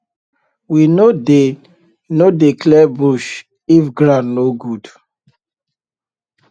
we no dey no dey clear bush if ground no good